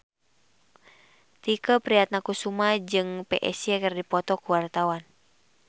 Tike Priatnakusuma jeung Psy keur dipoto ku wartawan